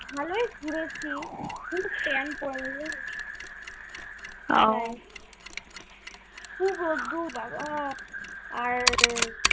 ভালোই ঘুরেছি কিন্তু কি রোদ্দূর বাবা